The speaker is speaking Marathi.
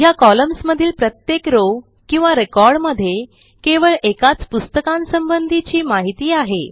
ह्या कॉलम्न्स मधील प्रत्येक रॉव किंवा रेकॉर्ड मध्ये केवळ एकाच पुस्तकासंबंधीची माहिती आहे